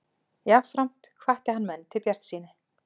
Jafnframt hvatti hann menn til bjartsýni